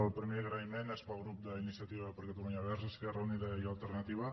el primer agraïment és per al grup d’iniciativa per catalunya verds esquerra unida i alternativa